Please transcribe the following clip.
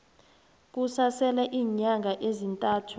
kusasele iinyanga ezintathu